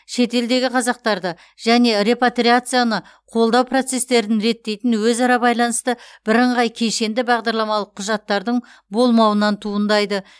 шетелдегі қазақтарды және репатриацияны қолдау процестерін реттейтін өзара байланысты бірыңғай кешенді бағдарламалық құжаттардың болмауынан туындайды